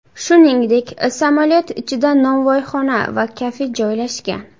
Shuningdek, samolyot ichida novvoyxona va kafe joylashgan.